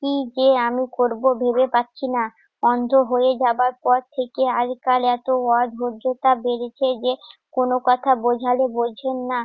কি যে আমি করব ভেবে পাচ্ছি না। অন্ধ হয়ে যাবার পর থেকে আজকাল এত অধৈর্যতা বেড়েছে যে, কোনো কথা বুঝালে বুঝেন না।